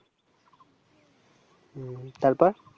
হম তারপর